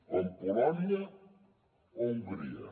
com polònia o hongria